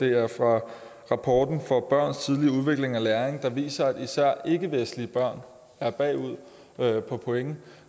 er fra rapporten om børns tidlige udvikling og læring der viser at især ikkevestlige børn er bagud på point